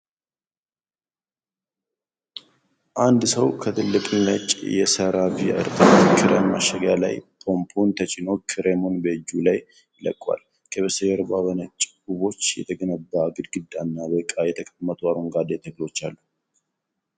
አንድ ሰው ከትልቅ ነጭ የሴራቬ እርጥበት ክሬም ማሸጊያ ላይ ፓምፑን ተጭኖ ክሬሙን በእጁ ላይ ይለቀዋል። ከበስተጀርባ በነጭ ጡቦች የተገነባ ግድግዳና በዕቃ የተቀመጡ አረንጓዴ ተክሎች አሉ።